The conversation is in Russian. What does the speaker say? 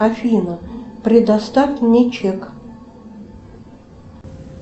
афина предоставь мне чек